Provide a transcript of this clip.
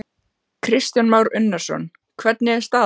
Kristján Már Unnarsson: Hvernig er staðan?